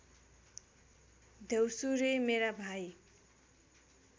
द्यौसुरे मेरा भाइ